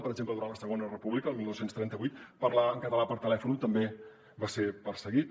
per exemple durant la segona república el dinou trenta vuit parlar en català per telèfon també va ser perseguit